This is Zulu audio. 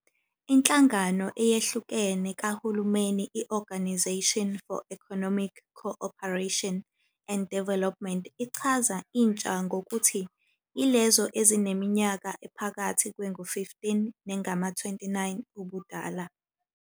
Inhlangano eyehlukene kohulumeni i- Organisation for Economic Co-operation and Development ichaza "intsha" ngokuthi "yilezo ezineminyaka ephakathi kwengu-15 nengama-29 ubudala".